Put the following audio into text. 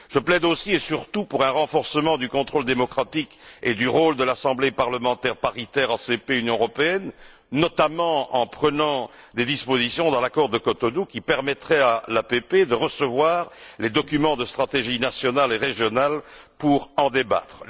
Je plaide aussi et surtout pour un renforcement du contrôle démocratique et du rôle de l'Assemblée parlementaire paritaire ACP Union européenne, via notamment l'insertion dans l'accord de Cotonou de dispositions qui permettraient à l'APP de recevoir les documents de stratégie nationale et régionale pour en débattre.